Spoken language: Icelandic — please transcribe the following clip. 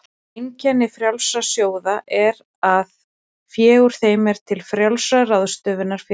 Einkenni frjálsra sjóða er það að fé úr þeim er til frjálsrar ráðstöfunar fyrir félagið.